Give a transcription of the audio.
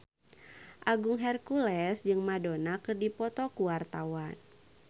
Agung Hercules jeung Madonna keur dipoto ku wartawan